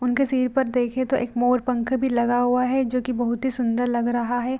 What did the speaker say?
उनके सिर पर देखे तो एक मोरपंख भी लगा हुआ है जो की बहोत ही सुन्दर लग रहा है।